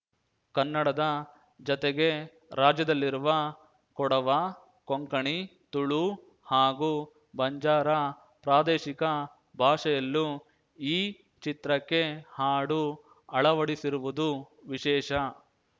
ಕನ್ನಡದ ಜತೆಗೆ ರಾಜ್ಯದಲ್ಲಿರುವ ಕೊಡವ ಕೊಂಕಣಿ ತುಳು ಹಾಗೂ ಬಂಜಾರ ಪ್ರಾದೇಶಿಕ ಭಾಷೆಯಲ್ಲೂ ಈ ಚಿತ್ರಕ್ಕೆ ಹಾಡು ಅಳವಡಿಸಿರುವುದು ವಿಶೇಷ